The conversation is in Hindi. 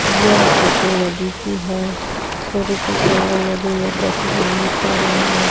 यह फोटो नदी की है सूर्य की किरणे नदी में प्रतिबंदित हो रही है।